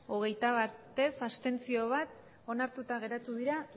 hogeita bat ez bat abstentzio onartuta geratu dira